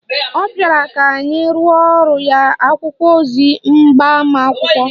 Ọ bịara ka anyị rụorọ ya akwụkwọ ozi agbamakwụkwọ